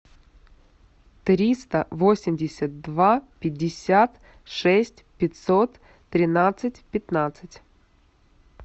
триста восемьдесят два пятьдесят шесть пятьсот тринадцать пятнадцать